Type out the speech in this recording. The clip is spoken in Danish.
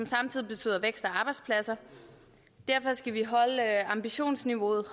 samtidig betyder vækst og arbejdspladser derfor skal vi holde ambitionsniveauet